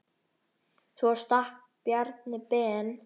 Svo stakk Bjarni Ben.